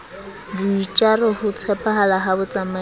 boitjaro ho tshepahala ha botsamaisi